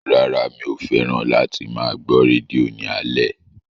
Rárá mi ò fẹ́ràn láti máa gbọ́ rédíò ní alẹ́